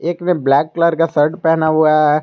एक ने black colour का शर्ट पहना हुआ है।